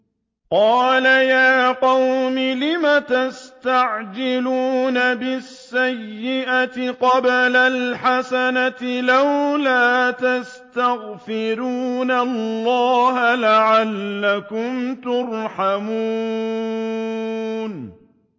قَالَ يَا قَوْمِ لِمَ تَسْتَعْجِلُونَ بِالسَّيِّئَةِ قَبْلَ الْحَسَنَةِ ۖ لَوْلَا تَسْتَغْفِرُونَ اللَّهَ لَعَلَّكُمْ تُرْحَمُونَ